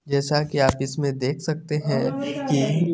जैसा के आप इसमें देख सकते हैं की --